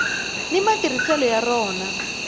ni matirhiselo ya rona